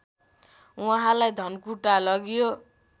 उहाँलाई धनकुटा लगियो